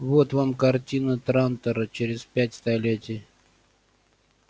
вот вам картина трантора через пять столетий